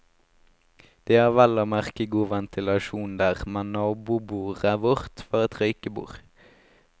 De har vel og merke god ventilasjon der, men nabobordet vårt, var et røykebord.